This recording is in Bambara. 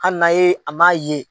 Hali n'a ye a m'a ye.